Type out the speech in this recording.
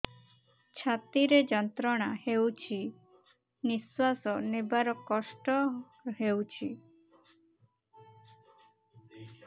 ଛାତି ରେ ଯନ୍ତ୍ରଣା ହେଉଛି ନିଶ୍ଵାସ ନେବାର କଷ୍ଟ ହେଉଛି